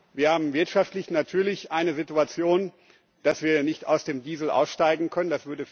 Wir haben wirtschaftlich natürlich eine Situation, dass wir nicht aus dem Diesel aussteigen können.